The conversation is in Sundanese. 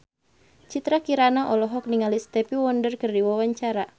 Citra Kirana olohok ningali Stevie Wonder keur diwawancara